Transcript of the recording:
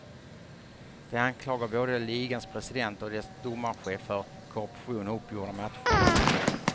De anklagar både ligans president och dess domarchef för korruption och uppgjorda matcher.